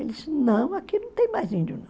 Ele disse, não, aqui não tem mais índio, não.